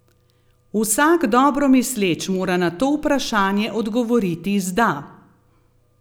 Vsak dobromisleč mora na to vprašanje odgovoriti z da!